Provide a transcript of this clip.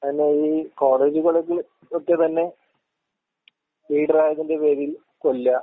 അതന്നെ ഈ കോളേജ്കളില് ഒക്കെ തന്നെ ലീഡറായതിന്റെ പേരിൽ കൊല്ലുക.